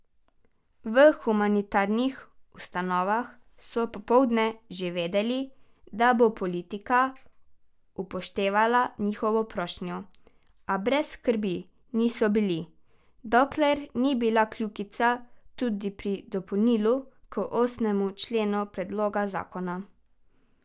V humanitarnih ustanovah so popoldne že vedeli, da bo politika upoštevala njihovo prošnjo, a brez skrbi niso bili, dokler ni bila kljukica tudi pri dopolnilu k osmemu členu predloga zakona.